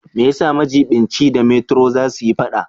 Me yasa majiɓinci da metro za su yi fada?